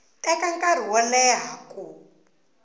teka nkarhi wo leha ku